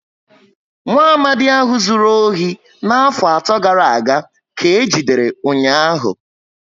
Nwaamadi ahụ zụrụ ohi na afo ato gàrà aga ka eji dere ụnyaahụ